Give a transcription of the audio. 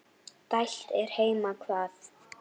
dælt er heima hvað.